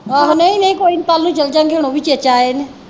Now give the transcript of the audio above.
ਆਹੋ ਨਹੀਂ ਨਹੀਂ ਕੋਈ ਨਹੀਂ ਕਲ ਨੂੰ ਚਲ ਜਾ ਗੇ ਹੁਣ ਓਵੀ ਚੇਚਾ ਆਏ ਨੇ।